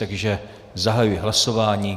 Takže zahajuji hlasování.